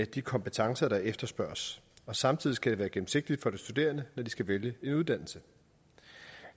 de kompetencer der efterspørges og samtidig skal det være gennemsigtigt for de studerende når de skal vælge en uddannelse